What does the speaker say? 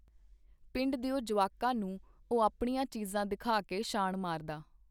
ਪਿੰਡ ਦਿਓ ਜੁਆਕਾਂ ਨੂੰ ਉਹ ਆਪਣੀਆਂ ਚੀਜ਼ਾਂ ਦਿਖਾ ਕੇ ਸ਼ਾਨ ਮਾਰਦਾ.